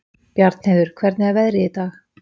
Bjarnheiður, hvernig er veðrið í dag?